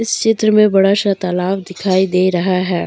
चित्र में बड़ा सा तालाब दिखाई दे रहा है।